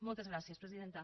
moltes gràcies presidenta